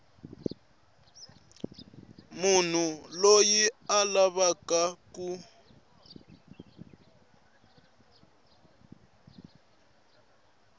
munhu loyi a lavaka ku